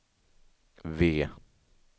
V